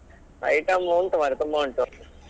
Item ಉಂಟು ಮರ್ರೆ ತುಂಬ ಉಂಟು.